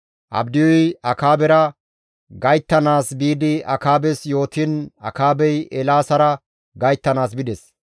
Abdiyuy Akaabera gayttanaas biidi Akaabes yootiin Akaabey Eelaasara gayttanaas bides.